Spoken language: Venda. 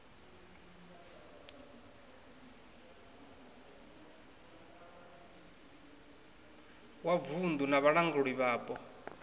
wa vunddu na vhalanguli vhapo